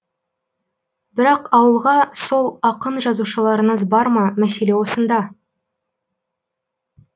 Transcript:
бірақ ауылға сол ақын жазушыларыңыз бар ма мәселе осында